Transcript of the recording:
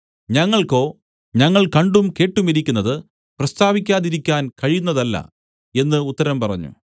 ഞങ്ങൾക്കോ ഞങ്ങൾ കണ്ടും കേട്ടുമിരിക്കുന്നത് പ്രസ്താവിക്കാതിരിക്കുവാൻ കഴിയുന്നതല്ല എന്ന് ഉത്തരം പറഞ്ഞു